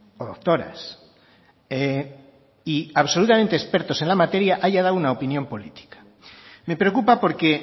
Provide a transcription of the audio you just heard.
o doctoras y absolutamente expertos en la materia haya dado una opinión política me preocupa porque